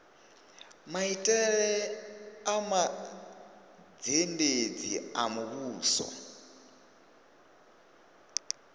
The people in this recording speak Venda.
maitele a mazhendedzi a muvhuso